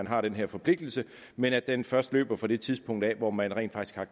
har den her forpligtelse men at den først løber fra det tidspunkt hvor man rent faktisk har